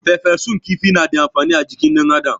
Farfesun kifi na da amfani ajikin dan adam